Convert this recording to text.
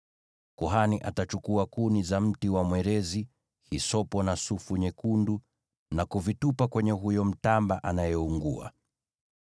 Kuhani atachukua kuni za mti wa mwerezi, hisopo na sufu nyekundu, na kuvitupa kwenye huyo mtamba anayeungua.